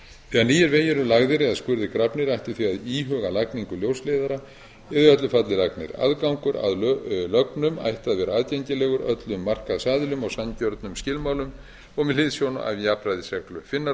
nýir vegir eru lagðir eða skurðir grafnir ætti því að íhuga lagningu ljósleiðara eða í öllu falli aðgangur að lögnum ætti að vera aðgengilegur öllum markaðsaðilum á sanngjörnum skilmálum og með hliðsjón af jafnræðisreglu finnar og